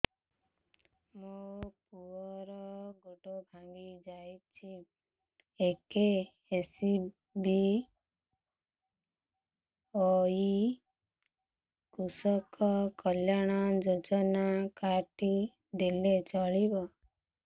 ମୋ ପୁଅର ଗୋଡ଼ ଭାଙ୍ଗି ଯାଇଛି ଏ କେ.ଏସ୍.ବି.ୱାଇ କୃଷକ କଲ୍ୟାଣ ଯୋଜନା କାର୍ଡ ଟି ଦେଲେ ଚଳିବ